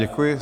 Děkuji.